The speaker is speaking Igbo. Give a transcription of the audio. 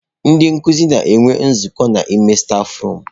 Ndị nkuzi na-enwe nzukọ n'ime stafurum.